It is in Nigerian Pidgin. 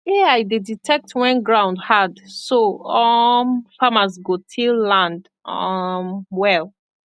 ai dey detect when ground hard so um farmer go till land um well